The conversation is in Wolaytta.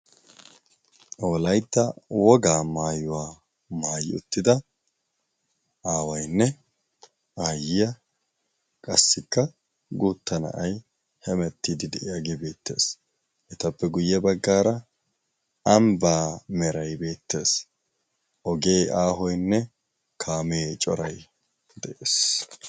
Wolaytta wogaa maayuwaa maayyi uttida aawaynne aayyiya qassikka guutta na'ay hemettiidi de'iyaagee beettees etappe guyye baggaara anbaa meray beettees ogee aahoynne kaamee coray de'ees